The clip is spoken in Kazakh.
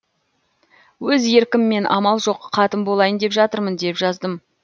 өз еркіммен амал жоқ қатын болайын деп жатырмын деп жаздым